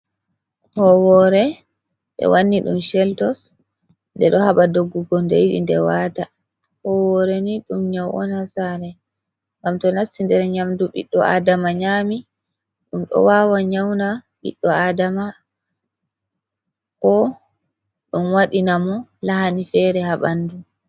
Howore ɓe wanni ɗum cheltos ɗe ɗo haɓa doggugo ɗe yiɗi ɗe waata, howore ni ɗum nyau on ha sare ngam to nasti nder nyamdu ɓiɗɗo adama nyami ɗum ɗo wawa nyauna ɓiɗɗo adama ko ɗum waɗina mo lahani fere ha bandu.